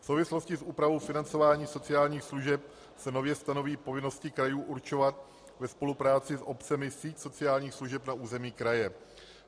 V souvislosti s úpravou financování sociálních služeb se nově stanoví povinnosti krajů určovat ve spolupráci s obcemi síť sociálních služeb na území kraje.